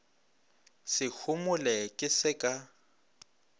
se homole ke se ka